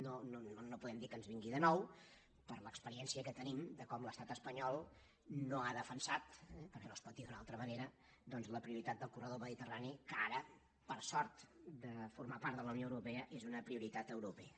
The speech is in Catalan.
no podem dir que ens vingui de nou per l’experiència que tenim de com l’estat espanyol no ha defensat eh perquè no es pot dir d’una altra manera doncs la prioritat del corredor mediterrani que ara per sort de formar part de la unió europea és una prioritat europea